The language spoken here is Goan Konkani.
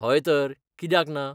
हय तर, कित्याक ना?